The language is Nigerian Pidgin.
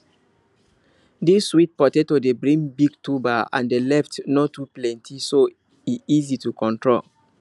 this sweet potato dey bring big tuber and the leaf no too plenty so e easy to control